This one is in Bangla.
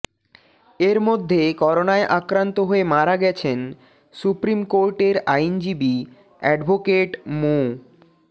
এর মধ্যে করোনায় আক্রান্ত হয়ে মারা গেছেন সুপ্রিম কোর্টের আইনজীবী অ্যাডভোকেট মো